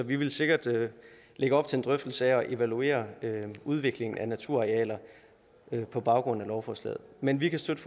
vi vil sikkert lægge op til en drøftelse af at evaluere udviklingen af naturarealer på baggrund af lovforslaget men vi kan støtte